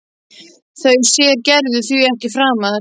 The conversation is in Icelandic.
Þau sér Gerður því ekki framar.